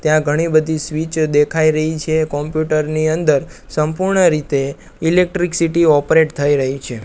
ત્યાં ઘણી બધી સ્વીચ દેખાય રહી છે કોમ્પ્યુટર ની અંદર સંપૂર્ણ રીતે ઇલેક્ટ્રીક સીટી ઓપરેટ થઈ રહી છે.